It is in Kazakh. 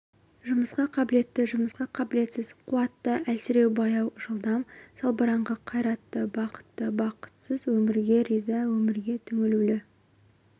жұмысқа қабілетті жұмысқа қабілетсіз қуатты әлсіреу баяу жылдам салбыраңқы қайратты бақытты бақытсыз өмірге риза өмірге түңілу